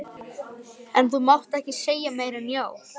Enn kemur forseti auga á markverðar hræringar hjá æðarfuglinum.